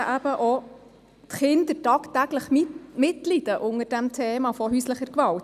Insbesondere leiden auch die Kinder tagtäglich mit unter häuslicher Gewalt.